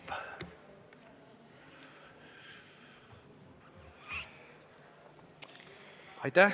Aitäh!